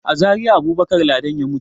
A Zariya Abubakar Ladan ya mutu.